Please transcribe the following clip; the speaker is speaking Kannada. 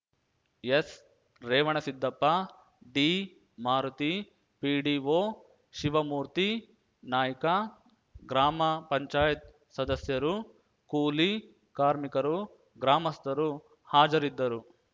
ಎಸ್‌ರೇವಣಸಿದ್ದಪ್ಪ ಡಿಮಾರುತಿ ಪಿಡಿಒ ಶಿವಮೂರ್ತಿ ನಾಯ್ಕ ಗ್ರಾಮ ಪಂಚಾಯತಿ ಸದಸ್ಯರು ಕೂಲಿ ಕಾರ್ಮಿಕರು ಗ್ರಾಮಸ್ಥರು ಹಾಜರಿದ್ದರು